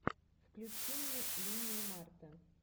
включи мне линию марта